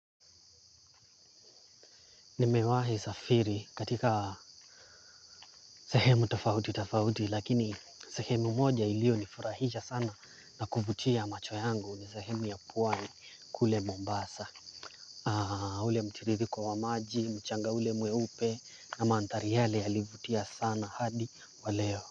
Nimewahi safiri katika sehemu tofauti tofauti lakini sehemu moja iliyonifurahisha sana na kuvutia macho yangu ni sehemu ya pwani kule Mombasa. Ule mtiririko wa maji, mchanga ule mweupe na mandhari yale yalivutia sana hadi wa leo.